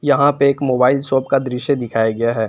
यहां पे एक मोबाइल शॉप का दृश्य दिखाया गया है।